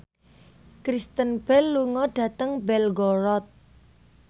Kristen Bell lunga dhateng Belgorod